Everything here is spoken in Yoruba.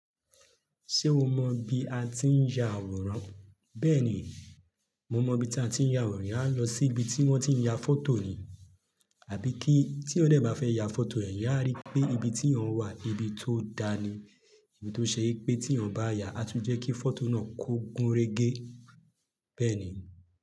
Ṣé o mọ bí a ti ń ya àwòrán? Bẹ́ẹ̀ni, mo mọ bí ta tiń ya àwòrán. Eyàn á lọ sí ibi tí wọ́n ti ń ya fọ́tò ni. Àbí kí tí edan bá fẹ́ ya fọ́tò ẹ̀, eyán a rí pé ibi tí eyan wà ibi tó da ni. Èyí tó ṣe pé tí eyan bá yà, á tún jẹ́ kí fọ́tò náà kó gúnrégé. Bẹ́ẹ̀ni.